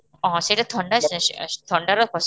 ଓହୋ ସେତ ଥଣ୍ଡା ଥଣ୍ଡାର